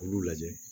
K'olu lajɛ